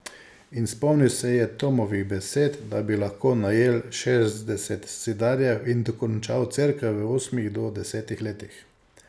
In spomnil se je Tomovih besed, da bi lahko najel šestdeset zidarjev in dokončal cerkev v osmih do desetih letih.